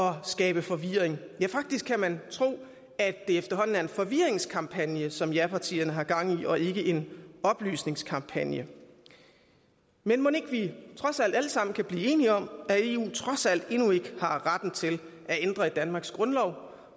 at skabe forvirring faktisk kan man tro at det efterhånden er en forvirringsskampagne som japartierne har gang i og ikke en oplysningskampagne men mon ikke vi trods alt alle sammen kan blive enige om at eu trods alt endnu ikke har retten til at ændre i danmarks grundlov